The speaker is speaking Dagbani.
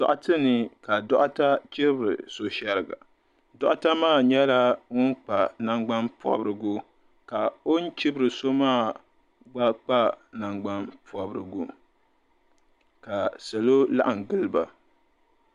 Doɣite ni ka doɣita chibiri so shɛriga doɣita maa nyɛla ŋun kpa nangban'pɔbirigu ka o ni chibiri so maa gba kpa nangban'pɔbirigu ka salo laɣim gili ba.